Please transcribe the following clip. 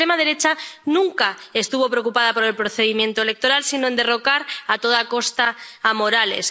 Pero la extrema derecha nunca estuvo preocupada por el procedimiento electoral, sino por derrocar a toda costa a Morales.